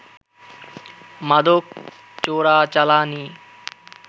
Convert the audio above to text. মাদক চোরাচালানি